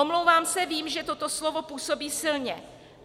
Omlouvám se, vím, že toto slovo působí silně.